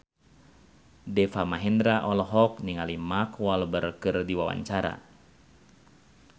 Deva Mahendra olohok ningali Mark Walberg keur diwawancara